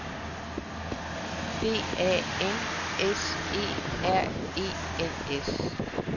D A N S E R E N S